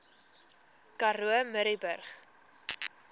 karoo murrayburg